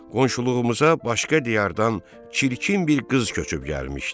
Qonşuluğumuza başqa diyardan çirkin bir qız köçüb gəlmişdi.